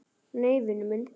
Nei, vinur minn.